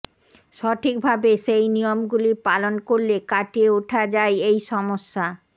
সঠিক ভাবে সেই নিয়মগুলি পালন করলে কাটিয়ে ওঠা যায় এই সমস্যা